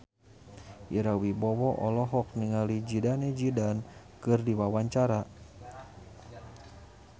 Ira Wibowo olohok ningali Zidane Zidane keur diwawancara